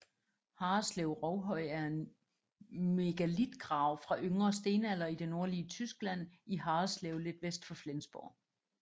Harreslev Rovhøj er en megalitgrav fra yngre stenalder i det nordlige Tyskland i Harreslev lidt vest for Flensborg